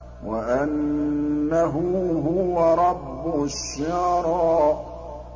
وَأَنَّهُ هُوَ رَبُّ الشِّعْرَىٰ